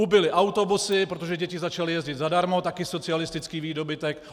Ubyly autobusy, protože děti začaly jezdit zadarmo, taky socialistický výdobytek.